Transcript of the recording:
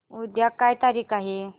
उद्या काय तारीख आहे